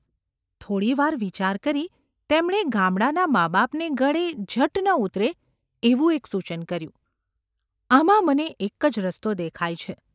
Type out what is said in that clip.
થોડી વાર વિચાર કરી તેમણે ગામડાંનાં માબાપને ગળે ઝટ ન ઉતરે એવું એક સૂચન કર્યું : ‘આમાં મને એક જ રસ્તો દેખાય છે.